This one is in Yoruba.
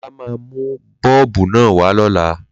Lolá máa mú Bọ́ọ̀bù naa wa lọ́la